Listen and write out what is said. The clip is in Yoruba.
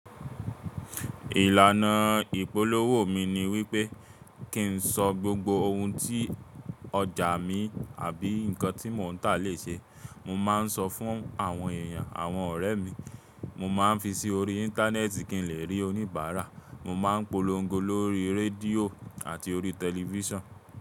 Ìlànà ìpolówó mi ni wípé kí n sọ gbogbo ohun tí ọjà mi àbí nǹkan tí mò ń tà lè ṣe. Mo máa ń sọ fún àwọn èèyàn, àwọn ọ̀rẹ́ mi, mo máa ń fi sí orí Íńtánẹ́ẹ̀tì kí n lè rí oníbàárà, mo má ń polongo lórí rédíò àti orí tẹlifísàn.